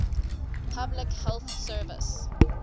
public health service